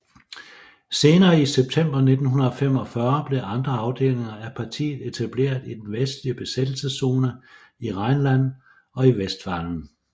Senere i september 1945 blev andre afdelinger af partiet etableret i den vestlige besættelseszone i Rheinland og i Westfalen